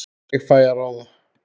Ég fæ að ráða.